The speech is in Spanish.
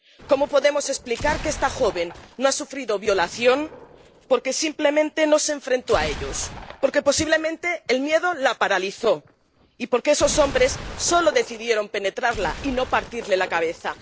Cómo podemos explicar que esta joven no ha sufrido violación porque simplemente no se enfrentó a ellos porque, posiblemente, el miedo la paralizó y porque esos hombres solo decidieron penetrarla y no partirle la cabeza.